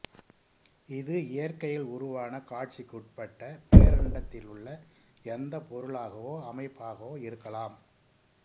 இது இயற்கையில் உருவான காட்சிக்குட்பட்ட பேரண்டத்திலுள்ள எந்தப் பொருளாகவோ அமைப்பாகவோ இருக்கலாம்